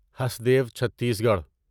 Hasdeo Chhattisgarh